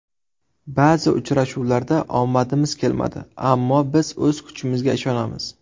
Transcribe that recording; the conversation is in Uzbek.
Ba’zi uchrashuvlarda omadimiz kelmadi, ammo biz o‘z kuchimizga ishonamiz.